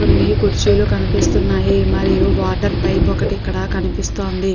కొన్ని కుర్చీలు కనిపిస్తున్నాయి మరియు వాటర్ పైప్ ఒకటి ఇక్కడ కనిపిస్తుంది.